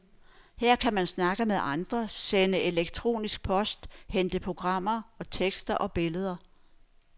Her kan man snakke med andre, sende elektronisk post, hente programmer, tekster og billeder.